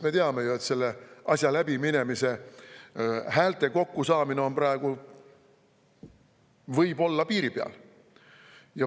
Me teame ju, et selle asja läbiminemiseks häälte kokkusaamine võib praegu olla piiri peal.